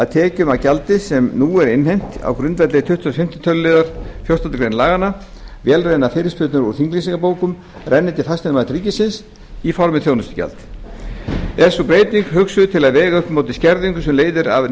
tekjur af gjaldi sem nú er innheimt á grundvelli tuttugasta og fimmta tölulið fjórtándu greinar laganna renni til fasteignamats ríkisins í formi þjónustugjalds er sú breyting hugsuð til að vega upp á móti skerðingu sem leiðir af